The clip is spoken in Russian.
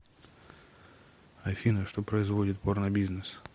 афина что производит порнобизнес